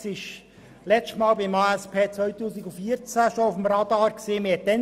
Die Spitex befand sich bereits anlässlich des letzten ASP 2014 auf dem Radar.